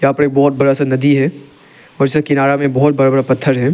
यहां पर बहोत बड़ा सा नदी है और इसका किनारा में बहोत बड़ा बड़ा पत्थर है।